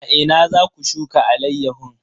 A ina za ku shuka alayyahun?